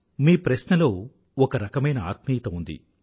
మీ ప్రశ్నలో ఒక రకమైన ఆత్మీయత ఉంది